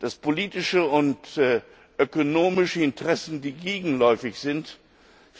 dass politische und ökonomische Interessen, die gegenläufig sind,